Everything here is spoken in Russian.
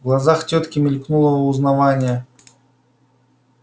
в глазах тётки мелькнуло узнавание